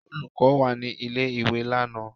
Olùkọ́ wà ní ilé-ìwé lánàá?